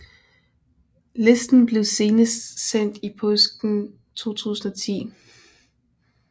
Listen blev senest sendt i påsken 2010